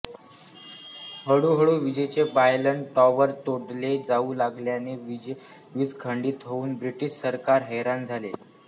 हळूहळू विजेचे pylon tower तोडले जाऊ लागल्याने वीज खंडित होऊन ब्रिटिश सरकार हैराण झाले